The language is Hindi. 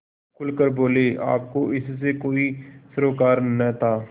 खुल कर बोलेआपको इससे कोई सरोकार न था